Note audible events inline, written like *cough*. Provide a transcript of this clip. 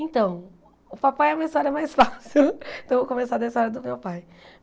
Então, o papai é uma história mais *laughs* fácil, então eu vou começar da história do meu pai.